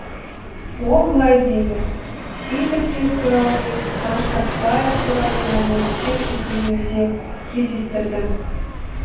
ол былай дейді сейітовтер туралы мен қаныш сәтбаев туралы мәліметтер іздегенде кездестірдім